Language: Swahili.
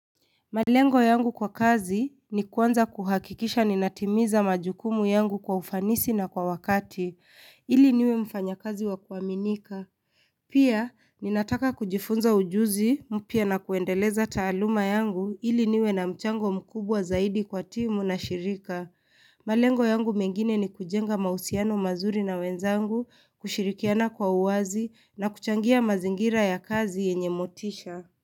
Malengo yangu kwa kazi ni kuanza kuhakikisha ninatimiza majukumu yangu kwa ufanisi na kwa wakati, ili niwe mfanya kazi wakuaminika. Pia, ninataka kujifunza ujuzi mpya na kuendeleza taaluma yangu ili niwe na mchango mkubwa zaidi kwa timu na shirika. Malengo yangu mengine ni kujenga mausiano mazuri na wenzangu, kushirikiana kwa uwazi na kuchangia mazingira ya kazi yenye motisha.